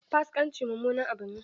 Fasikanci mummunan abu ne.